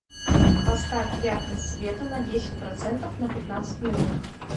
поставь яркость света на десять процентов на пятнадцать минут